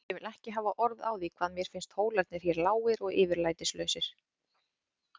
Ég vil ekki hafa orð á því hvað mér finnst hólarnir hér lágir og yfirlætislausir.